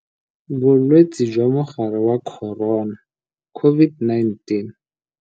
Bolwetse jwa Mogare wa Corona, COVID-19.